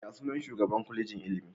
Ya sunan shugaan Kwalejin ilimi?